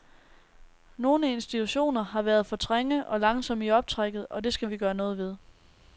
Nogle institutioner har været for træge og langsomme i optrækket, og det skal vi gøre noget ved.